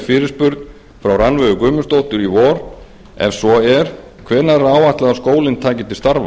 fyrirspurn frá rannveigu guðmundsdóttur í vor ef svo er hvenær er áætlað að skólinn taki til starfa